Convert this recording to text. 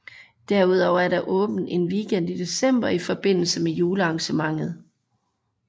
Derudover er der åbent en weekend i december i forbindelse med julearrangementet